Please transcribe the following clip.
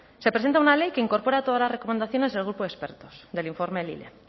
se presenta una ley que incorpora todas las recomendaciones del grupo de expertos del informe lile